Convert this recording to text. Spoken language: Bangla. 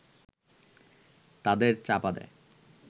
তাদের চাপা দেয়